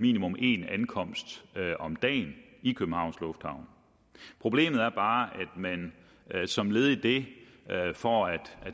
minimum én ankomst om dagen i københavns lufthavn problemet er bare at man som led i det for at